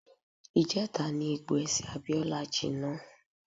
Ìjẹta ni egbò ẹsẹ̀ Abíọ́lá jinná.